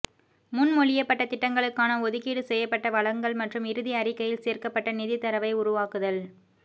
முன்மொழியப்பட்ட திட்டங்களுக்கான ஒதுக்கீடு செய்யப்பட்ட வளங்கள் மற்றும் இறுதி அறிக்கையில் சேர்க்கப்பட்ட நிதித் தரவை உருவாக்குதல்